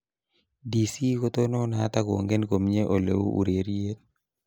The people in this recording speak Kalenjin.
DC kotononat akongen komnye oleu ureriet .